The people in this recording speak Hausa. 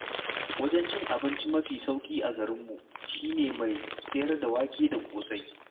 Wajen cin abinci mafi sauƙi a garinmu shi ne na mai sayar da wake da ƙosai.